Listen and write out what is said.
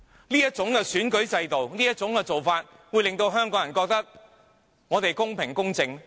對於這種選舉制度和做法，香港人會認為公平、公正嗎？